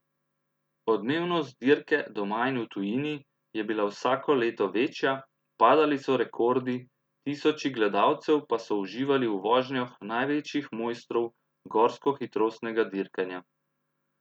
Odmevnost dirke doma in v tujini je bila vsako leto večja, padali so rekordi, tisoči gledalcev pa so uživali v vožnjah največjih mojstrov gorskohitrostnega dirkanja.